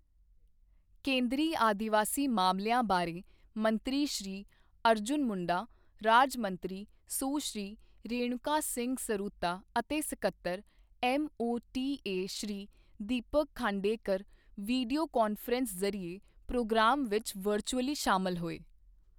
ਕੇਂਦਰੀ ਆਦਿਵਾਸੀ ਮਾਮਲਿਆਂ ਬਾਰੇ ਮੰਤਰੀ ਸ਼੍ਰੀ ਅਰਜੁਨ ਮੁੰਡਾ, ਰਾਜ ਮੰਤਰੀ ਸੁਸ਼੍ਰੀ ਰੇਣੂਕਾ ਸਿੰਘ ਸਰੂਤਾ ਅਤੇ ਸੱਕਤਰ, MoTA Shri Deepak Khandekar video conference ਜ਼ਰੀਏ ਪ੍ਰੋਗਰਾਮ ਵਿੱਚ ਵਰਚੁਅਲੀ ਸ਼ਾਮਲ ਹੋਏ।